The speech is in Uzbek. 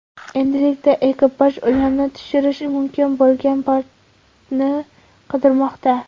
Endilikda ekipaj ularni tushirish mumkin bo‘lgan portni qidirmoqda.